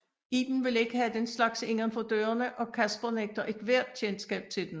Iben vil ikke have den slags inden for dørene og Casper nægter et hvert kendskab til den